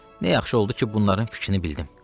Nə yaxşı oldu ki, bunların fikrini bildim.